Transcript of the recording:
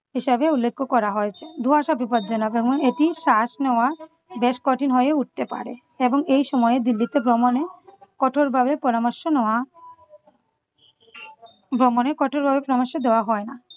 হিসেবে উল্লেখ করা হয়েছে। ধোঁয়াশা বিপদজনক এবং এটির শ্বাস নেওয়া বেশ কঠিন হয়ে উঠতে পারে। এবং এই সময় দিল্লিতে ভ্রমণের কঠোরভাবে পরামর্শ নেওয়া ভ্রমণের কঠোরভাবে পরামর্শ দেওয়া হয় না ।